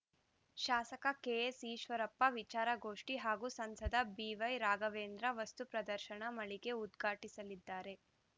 ಶಾಸಕ ಕೆಎಸ್‌ ಈಶ್ವರಪ್ಪ ವಿಚಾರಗೋಷ್ಠಿ ಹಾಗೂ ಸಂಸದ ಬಿವೈ ರಾಘವೇಂದ್ರ ವಸ್ತುಪ್ರದರ್ಶನ ಮಳಿಗೆ ಉದ್ಘಾಟಿಸಲಿದ್ದಾರೆ